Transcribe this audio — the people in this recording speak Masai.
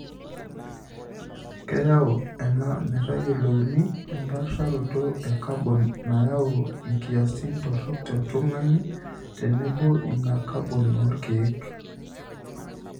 Keyau ena metayiolouni empaasharoto e kabon nayau nkiasin torok e tung'ani tenebo ina kabon oolkeek .